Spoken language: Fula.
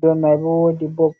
dow mai bo wodi bop.